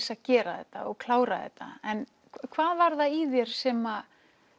að gera þetta og klára þetta en hvað var það í þér sem